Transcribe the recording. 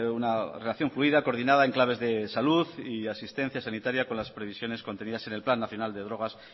una relación fluida coordinada en claves de salud y asistencia sanitaria con las previsiones contenidas en el plan nacional de drogas